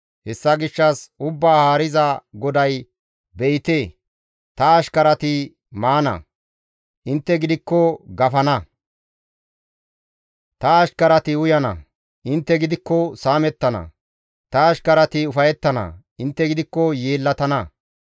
Hessa gishshas, Ubbaa Haariza GODAY, «Be7ite, ta ashkarati maana; intte gidikko gafana; ta ashkarati uyana; intte gidikko saamettana; Ta ashkarati ufayettana; intte gidikko yeellatana.